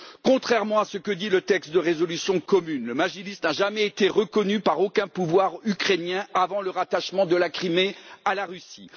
Contrairement à ce que dit le texte de résolution commune, le Majlis n'a jamais été reconnu par aucun pouvoir ukrainien avant le rattachement de la Crimée à la Russie.